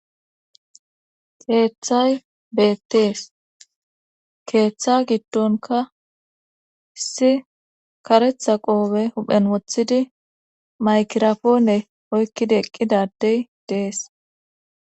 Keeththay beettees keeththa giddonka isi karetha qoobe huphen wothidi maykirafoone oykkida eqqidadey dees.